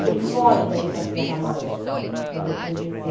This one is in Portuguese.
que ele foge daí para a Sierra Maestra, para depois descer.